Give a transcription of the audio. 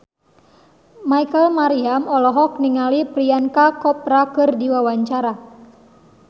Rachel Maryam olohok ningali Priyanka Chopra keur diwawancara